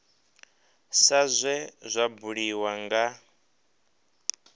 sa zwe zwa buliwa nga